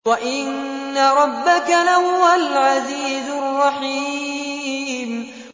وَإِنَّ رَبَّكَ لَهُوَ الْعَزِيزُ الرَّحِيمُ